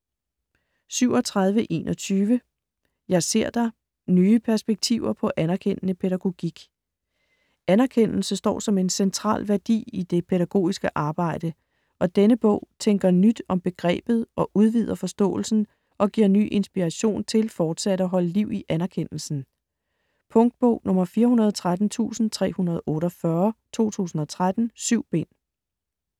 37.21 Jeg ser dig: nye perspektiver på anerkendende pædagogik Anerkendelse står som en central værdi i det pædagogiske arbejde, og denne bog tænker nyt om begrebet og udvider forståelsen og giver ny inspiration til fortsat at holde liv i anerkendelsen. Punktbog 413348 2013. 7 bind.